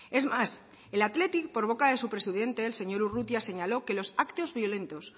es más el athletic por boca de su presidente el señor urrutia señaló que los actos violentos